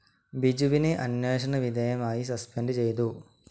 ബിജുവിനെ അന്വേഷണ വിധേയമായി സസ്പെൻഡ്‌ ചെയ്തു.